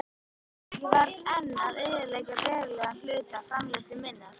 Ég varð enn að eyðileggja verulegan hluta framleiðslu minnar.